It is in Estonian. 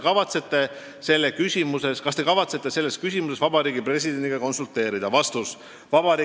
Kas Te kavatsete selles küsimuses Vabariigi Presidendiga konsulteerida?